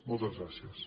moltes gràcies